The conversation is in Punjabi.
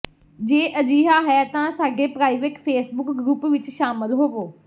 ਜੇ ਅਜਿਹਾ ਹੈ ਤਾਂ ਸਾਡੇ ਪ੍ਰਾਈਵੇਟ ਫੇਸਬੁੱਕ ਗਰੁੱਪ ਵਿਚ ਸ਼ਾਮਲ ਹੋਵੋ